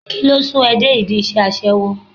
Kíló sún ẹ dé ìdí iṣẹ́ aṣẹ́wó?